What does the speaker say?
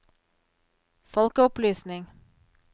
folkeopplysning